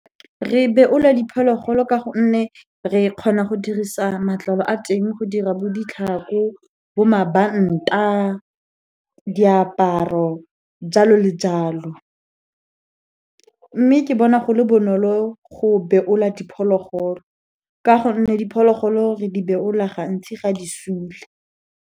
Re beolwa diphologolo ka gonne, re kgona go dirisa matlalo a teng go dira bo ditlhako, bo mabanta, diaparo jalo le jalo. Mme ke bona go le bonolo go beolwa diphologolo, ka gonne diphologolo re di beola gantsi ga di sule.